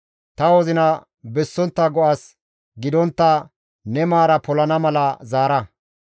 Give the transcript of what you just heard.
Ta wozina bessontta go7as gidontta ne maara polana mala zaara.